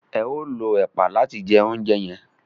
eo ló ẹpa làti jẹ ounjẹ yen.